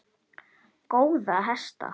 Góða hesta!